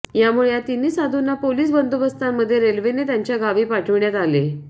यामुळे या तिन्ही साधूंना पोलीस बंदोबस्तामध्ये रेल्वेने त्यांच्या गावी पाठविण्यात आले